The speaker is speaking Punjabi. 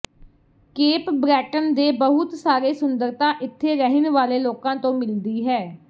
ਕੇਪ ਬ੍ਰੈਟਨ ਦੇ ਬਹੁਤ ਸਾਰੇ ਸੁੰਦਰਤਾ ਇੱਥੇ ਰਹਿਣ ਵਾਲੇ ਲੋਕਾਂ ਤੋਂ ਮਿਲਦੀ ਹੈ